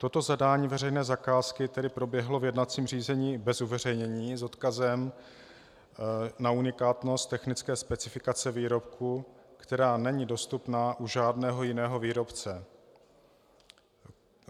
Toto zadání veřejné zakázky tedy proběhlo v jednacím řízení bez uveřejnění s odkazem na unikátnost technické specifikace výrobku, která není dostupná u žádného jiného výrobce.